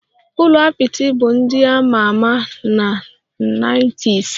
Ụlọ apịtị bụ ndị a ma ama na nineties